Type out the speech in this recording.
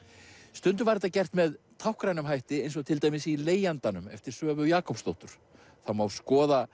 stundum var þetta gert með táknrænum hætti eins og til dæmis í leigjandanum eftir Svövu Jakobsdóttur það má skoða